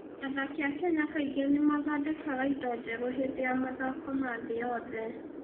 Athaki a Kenya kaingĩ nĩ mathondekaga indo njerũ hĩndĩ ya mathako ma thĩ yothe.